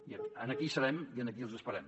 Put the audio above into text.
i aquí hi serem i aquí els esperem